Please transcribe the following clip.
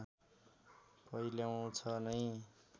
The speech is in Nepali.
पहिल्याउँछ नै